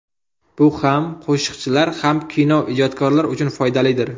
Bu ham qo‘shiqchilar, ham kino ijodkorlar uchun foydalidir.